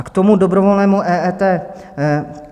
A k tomu dobrovolnému EET.